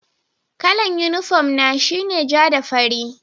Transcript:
Kalla'n uniform na shine ja da farri.